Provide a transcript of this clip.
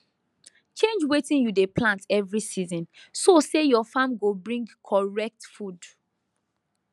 change wetin you dey plant every season so say your farm go bring correct food